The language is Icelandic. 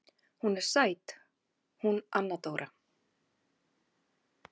Hún er sæt hún Anna Dóra.